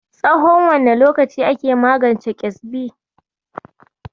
Tsahon wane lokaci ake magance ƙyezbi?